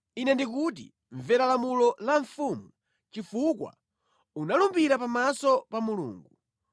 Ine ndikuti, mvera lamulo la mfumu, chifukwa unalumbira pamaso pa Mulungu.